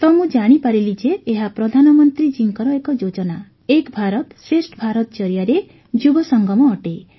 ତ ମୁଁ ଜାଣିପାରିଲି ଯେ ଏହା ପ୍ରଧାନମନ୍ତ୍ରୀ ଜୀଙ୍କର ଏକ ଯୋଜନା ଏକ୍ ଭାରତ ଶ୍ରେଷ୍ଠ ଭାରତ ଜରିଆରେ ଯୁବସଙ୍ଗମ ଅଟେ